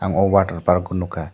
ang o water park o nogkha.